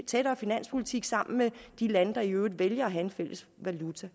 tættere finanspolitik sammen med de lande der i øvrigt valgte at have en fælles valuta